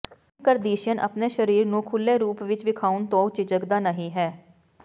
Kim Kardashian ਆਪਣੇ ਸਰੀਰ ਨੂੰ ਖੁੱਲ੍ਹੇ ਰੂਪ ਵਿਚ ਵਿਖਾਉਣ ਤੋਂ ਝਿਜਕਦਾ ਨਹੀਂ ਹੈ